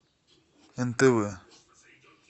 нтв